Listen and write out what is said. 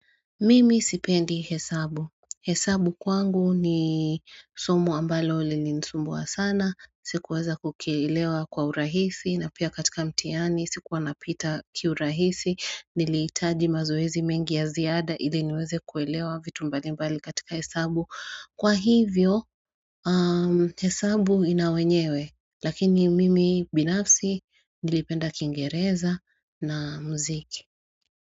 Mimi sipendi hesabu, hesabu kwangu ni somo ambalo lili nisumbua sana, sikuweza kukielewa kwa urahisi na pia katika mtihani, sikuwa napita kiurahisi, nilihitaji mazoezi mengi ya ziada ili niweze kuelewa vitu mbali mbali katika hesabu, kwa hivyo hesabu inawenyewe lakini mimi binafsi nilipenda kingereza na mziki.